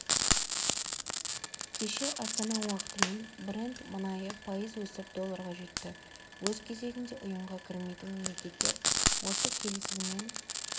кеше астана уақытымен брент мұнайы пайыз өсіп долларға жетті өз кезегінде ұйымға кірмейтін мемлекеттер осы келісімнен